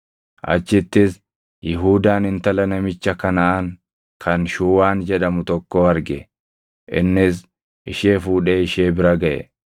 Achittis Yihuudaan intala namicha Kanaʼaan kan Shuuwaan jedhamu tokkoo arge; innis ishee fuudhee ishee bira gaʼe;